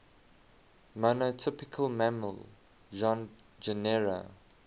monotypic mammal genera